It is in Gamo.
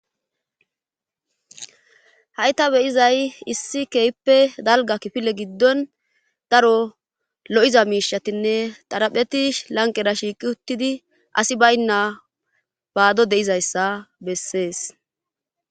hayta beyizay issi keyippe dalga kifile giddon daro lo'iza miishatinne tarapheti lanqera shiiqi uttidi asi baynna baado de'izayssa bessees